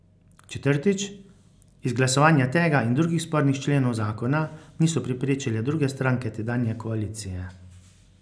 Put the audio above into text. Četrtič, izglasovanja tega in drugih spornih členov zakona niso preprečile druge stranke tedanje koalicije.